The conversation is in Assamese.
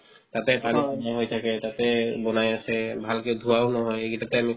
তাতে পানীত ম'হ আহি থাকে তাতে বনাই আছে ভালকে ধুৱাও নহয় এইকেইটাতে আমি